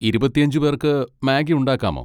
ഇരുപത്തിഅഞ്ച് പേർക്ക് മാഗ്ഗി ഉണ്ടാക്കാമോ?